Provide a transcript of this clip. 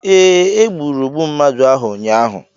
Ee, e gburu ogbu mmadụ ahụ ụnyahụ.